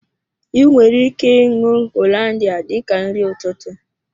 I nwere ike ṅụọ Hollandia dika nri ụtụtụ